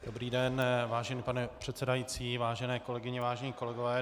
Dobrý den, vážený pane předsedající, vážené kolegyně, vážení kolegové.